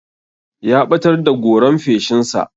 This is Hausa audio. Ya ɓatar da goran feshin sa.